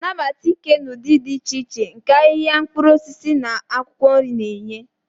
Nabata ike na ụdị dị iche iche nke ahịa mkpụrụ osisi na akwụkwọ nri na-enye.